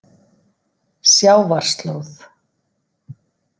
Sjávarslóð